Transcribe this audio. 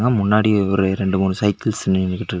முன்னாடி ஒவ்வொரு ரெண்டு மூணு சைக்கிள்ஸ் நின்னுகிட்ரு--